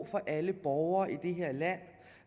for alle borgere i det her land